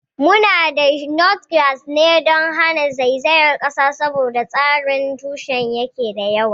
Muna dasa Notgrass ne don hana zaizayar kasa saboda tsarin tushenta da yake da yawa.